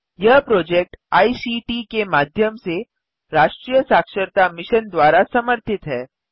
यह project ICT के माध्यम से राष्ट्रीय साक्षरता मिशन द्वारा समर्थित है